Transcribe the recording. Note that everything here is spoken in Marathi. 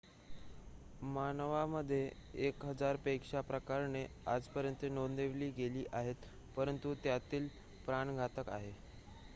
मानवामध्ये एक हजार पेक्षा प्रकरणे आजपर्यंत नोंदवली गेली आहेत परंतु त्यातील प्राणघातक आहेत